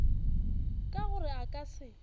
ka gore a ka se